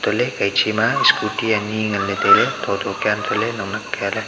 tohley kaiche na scooty ani nganley tailey thotho kia untohley naknak kialey.